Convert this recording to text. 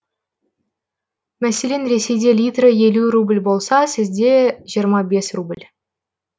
мәселен ресейде литрі елу рубль болса сізде жиырма бес рубль